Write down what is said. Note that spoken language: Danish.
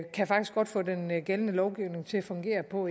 kan faktisk godt få den gældende lovgivning til at fungere på